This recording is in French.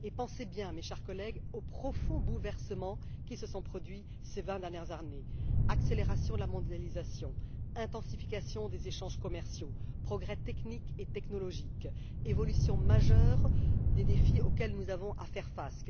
Songez, chers collègues, aux profonds bouleversements qui se sont produits ces vingt dernières années accélération de la mondialisation, intensification des échanges commerciaux, progrès techniques et technologiques, évolution majeure des défis auxquels nous devons faire face